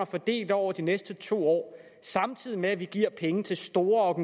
fordelt over de næste to år samtidig med at vi giver penge til store